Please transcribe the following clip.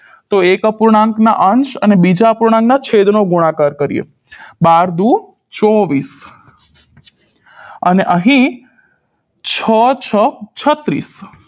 તો એક અપૂર્ણાંકના અંશ અને બીજા અપૂર્ણાંકના છેદનો ગુણાકાર કરીએ બાર દૂ ચોવીસ અને અહીં છ છ છત્રીસ